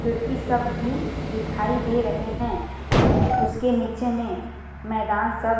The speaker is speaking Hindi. खिड़की सब भी दिखाई दे रहे है उसके नीचे में मैदान सब --